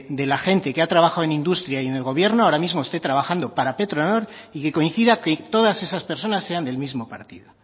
de la gente que ha trabajado en industria y en el gobierno ahora mismo esté trabajando para petronor y que coincide que todas esas personas sean del mismo partido